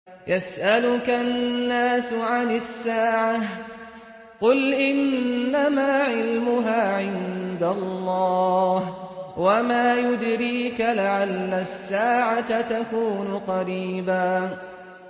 يَسْأَلُكَ النَّاسُ عَنِ السَّاعَةِ ۖ قُلْ إِنَّمَا عِلْمُهَا عِندَ اللَّهِ ۚ وَمَا يُدْرِيكَ لَعَلَّ السَّاعَةَ تَكُونُ قَرِيبًا